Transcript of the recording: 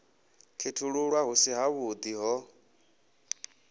khethululwa hu si havhuḓi ho